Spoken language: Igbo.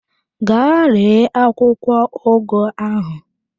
Gaa ree akwụkwọ ugu ahụ!